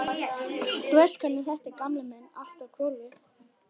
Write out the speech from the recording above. Þú veist hvernig þetta er, gamli minn, allt á hvolfi.